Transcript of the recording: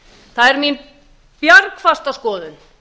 það er mín bjargfasta skoðun